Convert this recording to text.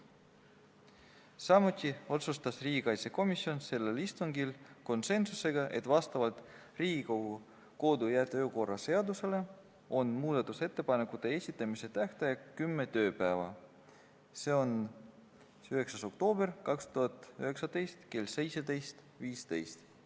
Samuti otsustas riigikaitsekomisjon sellel istungil konsensusega, et muudatusettepanekute esitamise tähtaeg on kümme tööpäeva, nagu see on Riigikogu kodu- ja töökorra seaduse järgi, seega tähtpäev on 9. oktoober kell 17.15.